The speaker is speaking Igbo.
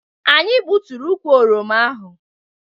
Anyị gbuturu ukwu oroma ahụ